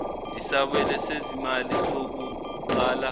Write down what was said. isabelo sezimali sokuqala